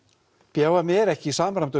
b h m er ekki í samræmdum